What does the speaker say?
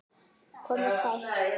Komiði sæl!